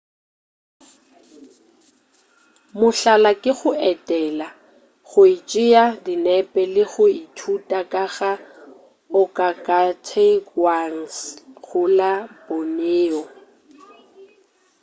mohlala ke go etela go tšea dinepe le go ithuta ka ga organgautauangs go la borneo